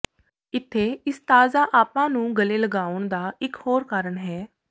ਇੱਥੇ ਇਸ ਤਾਜ਼ਾ ਆਭਾ ਨੂੰ ਗਲੇ ਲਗਾਉਣ ਦਾ ਇਕ ਹੋਰ ਕਾਰਨ ਹੈ